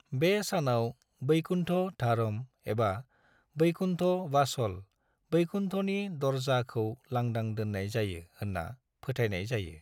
बे सानाव, वैकुण्ठ द्वारम एबा वैकुण्ठ वासल, 'वैकुण्ठनि दरजा'खौ लांदां दोननाय जायो होनना फोथायनाय जायो।